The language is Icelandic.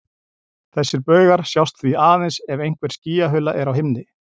Þessir baugar sjást því aðeins ef einhver skýjahula er á himni.